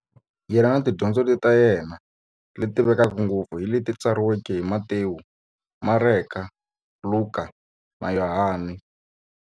Yena na tidyondzo ta yena, leti tivekaka ngopfu hi leti tsariweke hi-Matewu, Mareka, Luka, na Yohani.